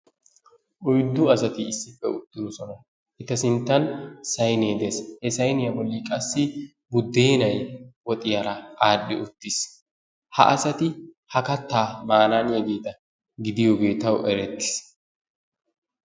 Oyddu asati issippe uttidosona. Eta sinttan sayinee des. He sayiniya bolli qassi buddeenay woxiyara aadhdhi uttis. Ha asati ha kattaa maanaaniyageeta gidiyogee tawu erettis.